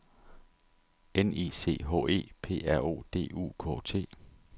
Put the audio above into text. N I C H E P R O D U K T